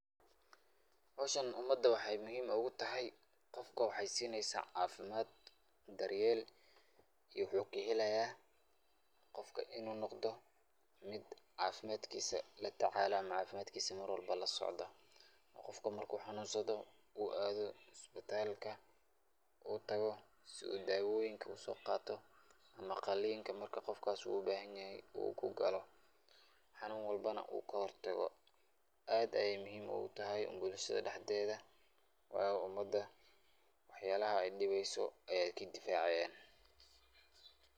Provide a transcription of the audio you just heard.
Howshan umada waxay muhim ogu tahay, qofka waxay siineysa caafimad, daryel iyo wuxuu kahelaaya qofka inu noqdo mid caafimadkis latacalaya Ama caafimadkis Mar walbo lasocdo, qofka marku canunsado uu aado isbitalka uu tago si uu daawoyinka uso qaato ama qalinka markas qofkas uu bahan yahay uu kugaalo xanun walbana uu kahor tago. Aad ayay muhim ogu tahay bulshada dhaxdeeda waayo umada waxyalaha ay dhibeyso ayay kadifaacayan.